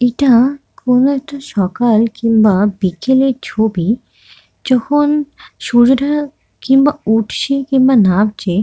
ইটা কোনো একটা সকাল কিংবা বিকেলের ছবি। যখন সূর্যটা কিংবা উঠছে কিংবা নামছে।